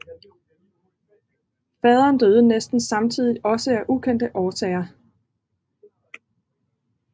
Faderen døde næsten samtidigt også af ukendte årsager